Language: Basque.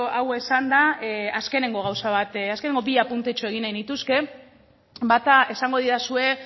hau esanda azkeneko gauza bat azkeneko bi apuntetxo egin nahi nituzke bata esango didazue